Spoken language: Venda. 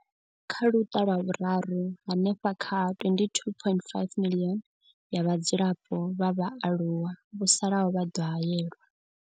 Kha luṱa lwa vhuraru, hanefha kha 22.5 miḽioni ya vhadzulapo vha vhaaluwa vho salaho vha ḓo haelwa.